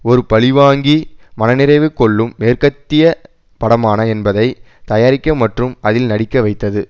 ஒரு பழிவாங்கி மனநிறைவு கொள்ளும் மேற்கத்திய படமான என்பதை தயாரிக்க மற்றும் அதில் நடிக்க வைத்தது